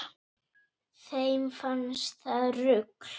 Þeim fannst það rugl